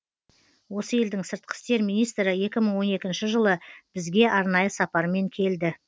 осы елдің сыртқы істер министрі екі мың он екінші жылы бізге арнайы сапармен келді